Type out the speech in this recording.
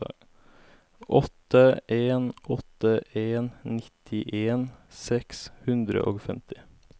åtte en åtte en nittien seks hundre og femti